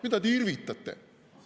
Mida te irvitate?